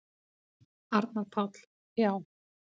Arnar Páll: Já.